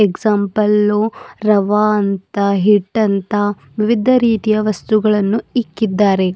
Example ರವಾ ಅಂತ ಹಿಟ್ಟಂತ ವಿವಿಧ ರೀತಿಯ ವಸ್ತುಗಳನ್ನು ಇಟ್ಟಿದ್ದಾರೆ.